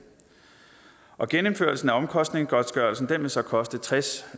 genindførelsen af omkostningsgodtgørelsen vil så koste tres